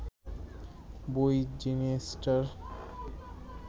বই জিনিসটার